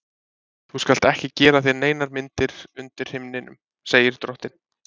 Þú skalt ekki gera þér neinar myndir undir himninum, segir drottinn.